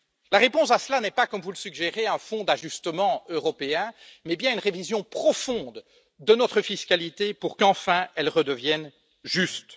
La réponse à cela n'est pas, comme vous le suggérez, un Fonds d'ajustement européen, mais bien une révision profonde de notre fiscalité pour qu'enfin elle redevienne juste.